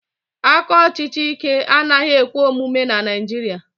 aka ọchịchị Ike anaghị ekwe omume na Naijiria